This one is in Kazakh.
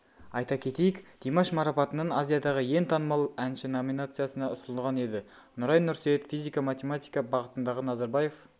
айта кетейік димаш марапатының азиядағы ең танымал әнші номинациясына ұсынылған еді нұрай нұрсейіт физика-математика бағытындағы назарбаев